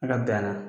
Ala bɛn na